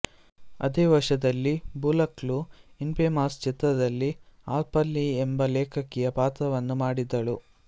ಅದೇ ವರ್ಷದಲ್ಲಿ ಬುಲಕ್ ಳು ಇನ್ಫೇಮಸ್ ಚಿತ್ರದಲ್ಲಿ ಹಾರ್ಪರ್ ಲೀ ಎಂಬ ಲೇಖಕಿಯ ಪಾತ್ರವನ್ನು ಮಾಡಿದಳು